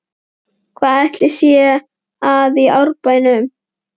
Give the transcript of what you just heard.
Hvað ætli sé að í Árbænum?